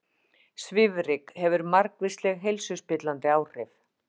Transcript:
Svifryk hefur margvísleg heilsuspillandi áhrif